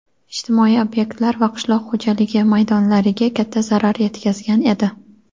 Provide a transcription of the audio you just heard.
ijtimoiy ob’ektlar va qishloq xo‘jaligi maydonlariga katta zarar yetkazgan edi.